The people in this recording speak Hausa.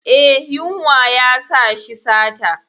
Eh, yunwa yasa shi sata.